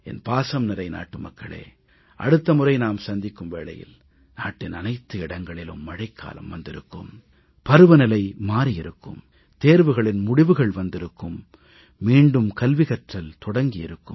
என் பாசம்நிறை நாட்டுமக்களே அடுத்த முறை நாம் சந்திக்கும் வேளையில் நாட்டின் அனைத்து இடங்களிலும் மழைக்காலம் வந்திருக்கும் பருவநிலை மாறி இருக்கும் தேர்வுகளின் முடிவுகள் வந்திருக்கும் மீண்டும் கல்வி கற்றல் தொடங்கி இருக்கும்